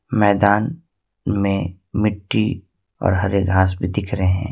मैदान में मिट्टी और हरे घास भी दिख रहे हैं।